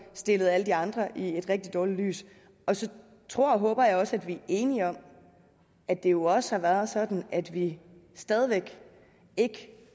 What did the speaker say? stillede alle de andre i et rigtig dårligt lys så tror og håber jeg også at vi er enige om at det jo også er sådan at vi stadig væk ikke